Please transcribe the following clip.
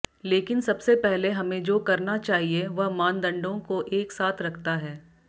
लेकिन सबसे पहले हमें जो करना चाहिए वह मानदंडों को एक साथ रखता है